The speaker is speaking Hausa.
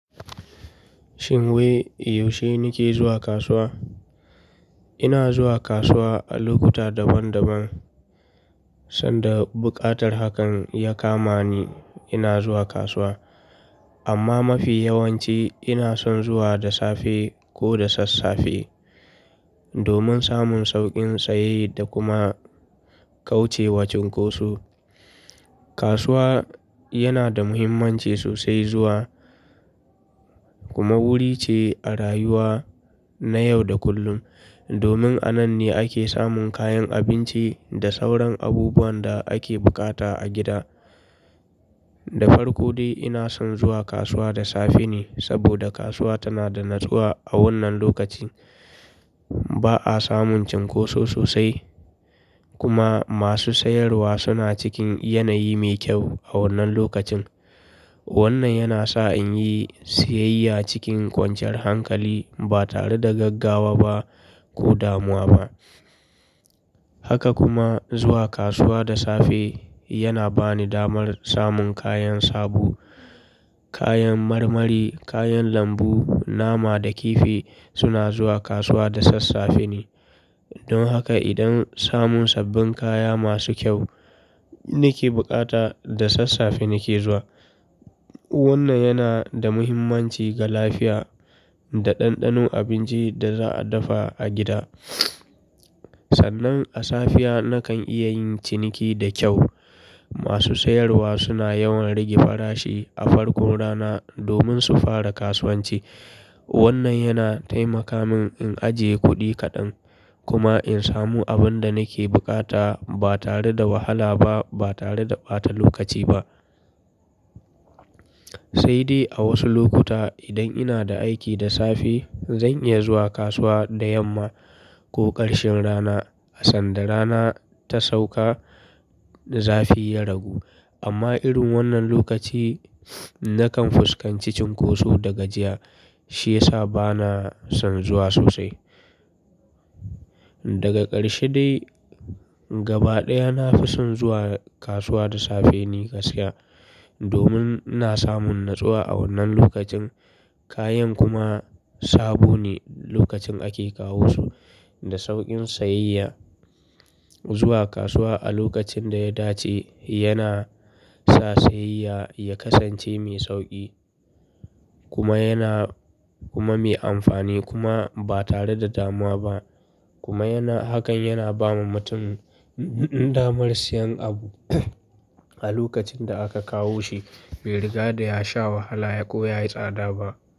Shin wai, yaushe ni ke zuwa kasuwa? Ina zuwa kasuwa a lokuta daban-daban, sanda buƙatar hakan ya kama ni ina zuwa kasuwa. Amma mafi yawanci ina son zuwa da safe ko da sassafe domin samun sauƙin sayayya, da kuma kauce wa cunkoso. Kasuwa yana da muhimmanci sosai zuwa, kuma wuri ce a rayuwa na yau da kullum domin a nan ne ake samun kayan abinci, da sauran abubuwan da ake bukata a gida. Da farko dai ina son zuwa kasuwa da safe ne saboda kasuwa tana da natsuwa a wannan lokaci. Ba a samun cunkoso sosai kuma masu sayarwa suna cikin yanayi mai kyau a wannan lokacin. Wannan yana sa in yi siyayya cikin kwanciyar hankali, ba tare da gaggawa ba ko damuwa ba. Haka kuma zuwa kasuwa da safe yana ba ni damar samun kayan sabo, kayan marmari, kayan lambu, nama da kifi suna zuwa kasuwa da sassafe ne. Don haka idan samun sabbin kaya masu kyau nake buƙata, da sassafe nake zuwa. Wannan yana da muhimmanci ga lafiya, da ɗanɗano abinci da za a dafa a gida. Sannan a safiya na kan iya yin ciniki da kyau. Masu sayarwa suna yawan rage farashi a farkon rana domin su fara kasuwanci. Wannan yana taimaka min in ajiye kuɗi kaɗan, kuma in samu abin da nake bukata ba tare da wahala ba, ba tare da ɓata lokaci ba. Sai dai a wasu lokuta idan ina da aiki da safe, zan iya zuwa kasuwa da yamma, ko ƙarshen rana sanda rana ta sauka zafi ya ragu. Amma irin wannan lokaci na kan fuskanci cunkoso da gajiya, shi ya sa ba na son zuwa sosai. Daga ƙarshe dai gaba ɗaya na fi son zuwa kasuwa da safe ne ka gaskiya, domin ina samun natsuwa a wannan lokacin, kayan kuma sabo ne lokacin ake kawo su da sauƙin sayayya. Zuwa kasuwa a lokacin da ya dace yana sa sayayya ya kasance mai sauƙi kuma yana, kuma mai amfani kuma ba tare da damuwa ba. Kuma yana, hakan yana ba mutum damar siyan abu a lokacin da aka kawo shi bai riga da ya sha wahala ko yayi tsada ba.